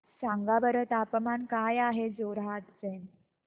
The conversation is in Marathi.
सांगा बरं तापमान काय आहे जोरहाट चे